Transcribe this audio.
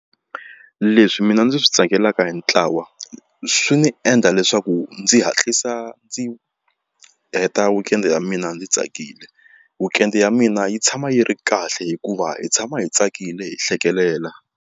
Leswi mina ndzi swi tsakelaka hi ntlawa swi ni endla leswaku ndzi hatlisa ndzi heta weekend ya mina ndzi tsakile weekend ya mina yi tshama yi ri kahle hikuva hi tshama hi tsakile hi hlekelela.